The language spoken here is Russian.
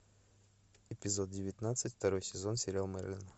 эпизод девятнадцать второй сезон сериал мерлин